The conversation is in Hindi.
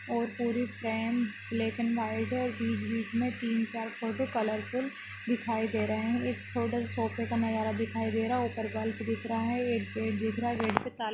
और पुरी फ्रेम ब्लैक और वाइट है बिच बिच में तीन चार फोटो कलरफुल दिखाई दे रहे है एक सोफा दिखाई दे रहा है उपर बल्ब दिखाई दे रहा है और गेट पर टाला--